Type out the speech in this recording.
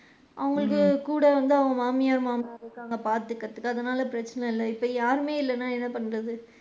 அவுங்களுக்கு கூட வந்து மாமியார் மாமனார் இருக்காங்க பாத்துக்குரதுக்கு அதனால பிரச்சனை இல்ல இப்ப யாருமே இல்லைனா என்ன பண்றது.